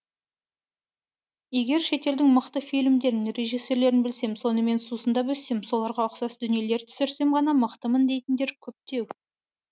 егер шетелдің мықты фильмдерін режиссерлерін білсем сонымен сусындап өссем соларға ұқсас дүниелер түсірсем ғана мықтымын дейтіндер көптеу